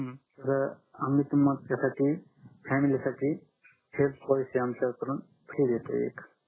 तर आम्ही तुमच्या साठी फॅमिलीसाठी आमच्या पोलिसी कडून फ्री देतोय